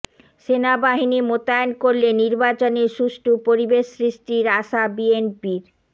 সেনাবাহিনী মোতায়েন করলে নির্বাচনে সুষ্ঠু পরিবেশ সৃষ্টির আশা বিএনপির